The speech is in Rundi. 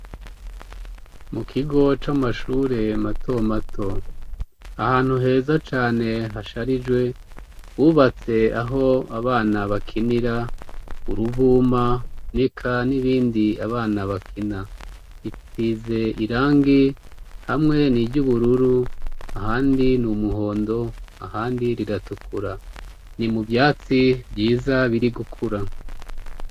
Mu kigo c'amashure mato mato ahantu heza cane hasharijwe bubatse aho abana bakinira uruvuma nika n'ibindi abana bakina itsize irangi hamwe niryo ubururu ahandi ni umuhondo ahandi riratukura, ni mu vyatsi vyiza biri gukura.